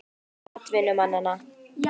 Fjöldi atvinnumanna?